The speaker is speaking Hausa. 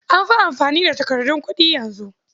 An fi amfani da takardun kuɗi yanzu